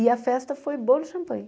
E a festa foi bolo e champanhe.